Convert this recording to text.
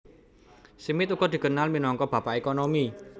Smith uga dikenal minangka Bapak Ekonomi